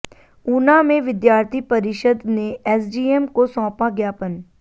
ऊना में विद्यार्थी परिषद ने एसडीएम को सौंपा ज्ञापन